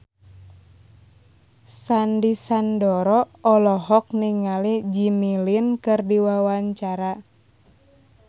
Sandy Sandoro olohok ningali Jimmy Lin keur diwawancara